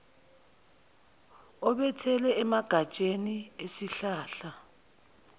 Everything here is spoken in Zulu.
obelethele emagatsheni esihlahla